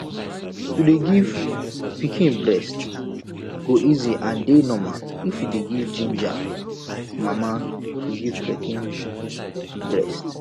to dey give pikin breast go easy and dey normal if we dey ginja mama to give pikin breast